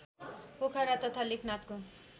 पोखरा तथा लेखनाथको